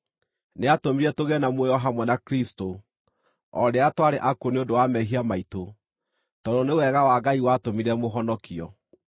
nĩatũmire tũgĩe na muoyo hamwe na Kristũ o rĩrĩa twarĩ akuũ nĩ ũndũ wa mehia maitũ tondũ nĩ wega wa Ngai watũmire mũhonokio.